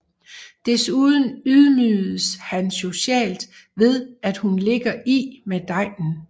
Desuden ydmyges han socialt ved at hun ligger i med degnen